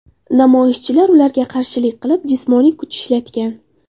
Namoyishchilar ularga qarshilik qilib, jismoniy kuch ishlatgan.